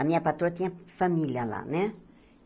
A minha patroa tinha família lá, né?